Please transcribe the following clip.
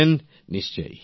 প্রেম জী নিশ্চয়